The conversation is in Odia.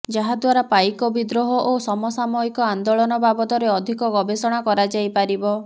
ଯାହା ଦ୍ୱାରା ପାଇକ ବିଦ୍ରୋହ ଓ ସମସାମୟିକ ଆନ୍ଦୋଳନ ବାବଦରେ ଅଧିକ ଗବେଷଣା କରାଯାଇପାରିବ